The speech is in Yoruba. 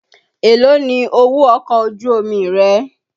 Èlóò ni owó ọkọ̀ ojú omi rẹ?